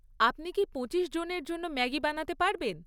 আপনি কি পঁচিশ জনের জন্য ম্যাগি বানাতে পারবেন?